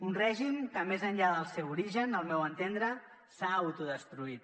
un règim que més enllà del seu origen al meu entendre s’ha autodestruït